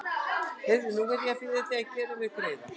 Heyrðu. nú verð ég aftur að biðja þig að gera mér greiða!